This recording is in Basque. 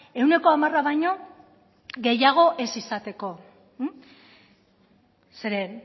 ehuneko hamara baino gehiago ez izateko zeren